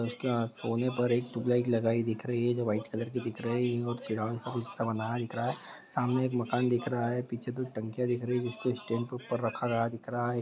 उसके यहाँ कोने पर एक ट्यूबलाइट लगाई दिख रही है जो वाइट कलर की दिख रही है बनाया दिख रहा है सामने एक मकान दिख रहा है पीछे दो टंकियां जिसको स्टेंड के ऊपर रखा गया दिख रहा है।